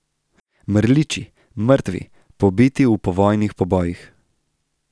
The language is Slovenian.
Mrliči, mrtvi, pobiti v povojnih pobojih!